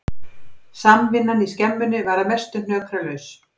Samvinnan í skemmunni var að mestu hnökralaus